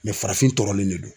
Mɛ farafin tɔrɔlen de don